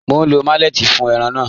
Mọ̀ n lọ malẹ̀tí fún ẹ̀ràn náà.